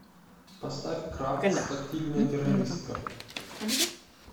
поставь кравц тактильная террористка